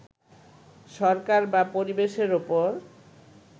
সরকার বা পরিবেশের উপর